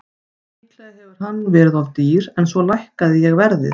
Líklega hefur hann verið of dýr en svo lækkaði ég verðið.